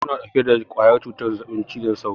Sauraye suna ɗauke da ƙwayar cutar zazzaɓin cizon sauro.